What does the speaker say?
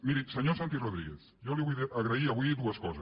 miri senyor santi rodríguez jo li vull agrair avui dues coses